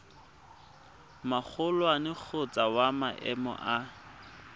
magolwane kgotsa wa maemo a